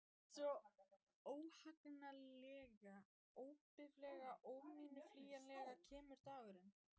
Svo, óhagganlega, óbifanlega, óumflýjanlega kemur dagurinn.